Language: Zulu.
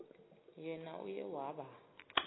yena uye waba